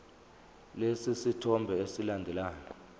lesi sithombe esilandelayo